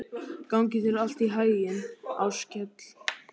Gangi þér allt í haginn, Áskell.